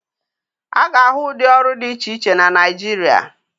A ga-ahụ ụdị ọrụ dị iche iche na Naịjirịa.